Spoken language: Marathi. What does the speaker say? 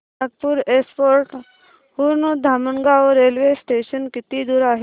नागपूर एअरपोर्ट हून धामणगाव रेल्वे स्टेशन किती दूर आहे